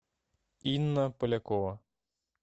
инна полякова